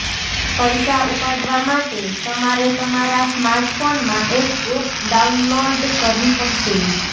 પૈસા ઉપાડવા માટે તમારે તમારા સ્માર્ટફોનમાં એક એપ ડાઉનલોર્ડ કરવી પડશે